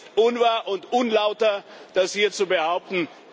Es ist unwahr und unlauter, das hier zu behaupten.